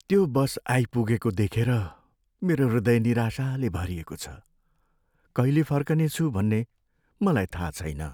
त्यो बस आइपुगेको देखेर मेरो हृदय निराशाले भरिएको छ। कहिले फर्कनेछु भन्ने मलाई थाहा छैन।